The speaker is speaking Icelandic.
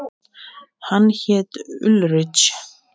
Hann hét Ulrich.